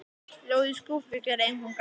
Ljóð í skúffu gera engum gagn.